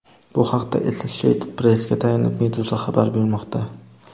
Bu haqda Associated Press’ga tayanib, Meduza xabar bermoqda .